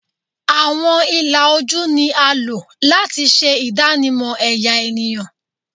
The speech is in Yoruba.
Awọn ila oju ni a lo lati ṣe idanimọ ẹya eniyan